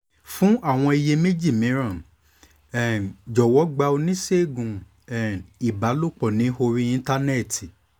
fún àwọn iyèméjì mìíràn um jọ̀wọ́ gba oníṣègùn um ìbálòpọ̀ ní orí íńtánẹ́ẹ̀tì